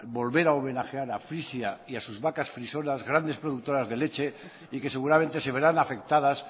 volver a homenajear a frisia y a sus vacas frisonas grandes productoras de leche y que seguramente se verán afectadas